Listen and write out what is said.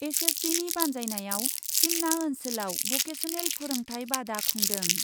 एसएसबिनि बान्जायनायाव सिमना ओन्सोलाव भकेसनेल फोरोंथाय बादा खुंदों।